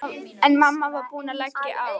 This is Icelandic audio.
En mamma var búin að leggja á.